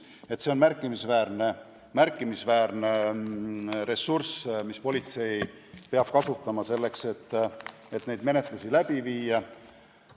Nii et see on märkimisväärne ressurss, mida politsei peab kasutama selleks, et neid menetlusi läbi viia.